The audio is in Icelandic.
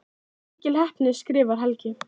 Það var mikil heppni skrifar Helgi.